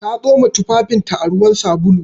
Ta tsoma tufafinta a ruwan sabulu.